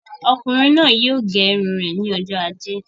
Ọkùnrin náà yóò gẹ irun rẹ ní ọjọ ajé